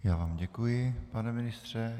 Já vám děkuji, pane ministře.